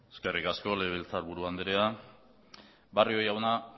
eskerrik asko legebiltzarburu andrea barrio jauna